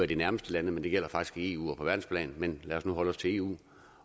de nærmeste lande men det gælder faktisk i eu og på verdensplan men lad os nu holde os til eu